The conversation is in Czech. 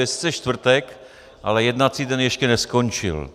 Je sice čtvrtek, ale jednací dne ještě neskončil.